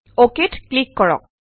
okay ত click কৰক